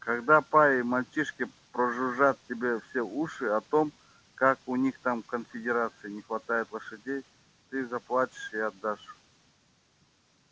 когда па и мальчишки прожужжат тебе все уши о том как у них там в конфедерации не хватает лошадей ты заплачешь и отдашь